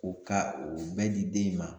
O ka o bɛɛ di den in ma